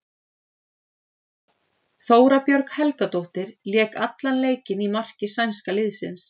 Þóra Björg Helgadóttir lék allan leikinn í marki sænska liðsins.